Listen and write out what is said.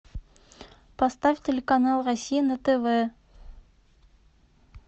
поставь телеканал россия на тв